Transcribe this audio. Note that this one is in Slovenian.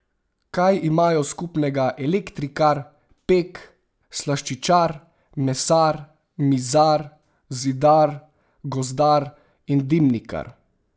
Kaj imajo skupnega elektrikar, pek, slaščičar, mesar, mizar, zidar, gozdar in dimnikar?